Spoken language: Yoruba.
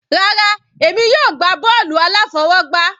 Rárá, èmi yóò gbá bọ́ọ̀lù aláfọwọgbá.